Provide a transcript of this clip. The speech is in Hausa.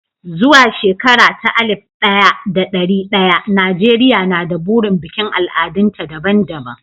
Zuwa shekara ta alif ɗaya da ɗari ɗaya, Najeriya na da burin bikin al'adunta daban-daban.